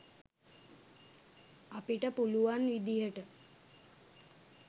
අපිට පුළුවන් විදිහට